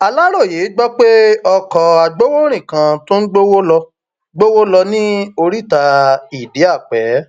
aláròye gbọ pé ọkọ agbowórin kan tó ń gbowó lọ gbowó lọ ní oríta idiape